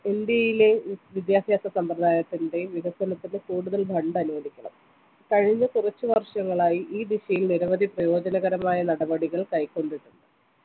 ഇന്ത്യയിലെ വിദ്യാഭ്യാസ സമ്പ്രദായതിൻ്റെയും വികസനത്തിന് കൂടുതൽ fund അനുവദിക്കണം കഴിഞ്ഞ കുറച്ചു വർഷങ്ങളായി ഈ ദിശയിൽ നിരവധി പ്രയോജനകരമായ നടപടികൾ കൈകൊണ്ടിട്ടുണ്ട്